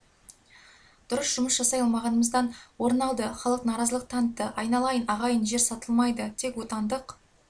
дұрыс жұмыс жасай алмағанымыздан орын алды халық наразылық танытты айналайын ағайын жер сатылмайды тек отандық